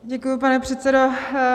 Děkuji, pane předsedo.